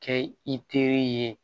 Kɛ i teri ye